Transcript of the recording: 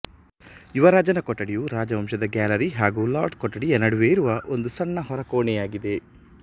ಯುವರಾಜನ ಕೊಠಡಿಯು ರಾಜವಂಶದ ಗ್ಯಾಲರಿ ಹಾಗು ಲಾರ್ಡ್ಸ್ ಕೊಠಡಿಯ ನಡುವೆಯಿರುವ ಒಂದು ಸಣ್ಣ ಹೊರಕೊಣೆಯಾಗಿದೆ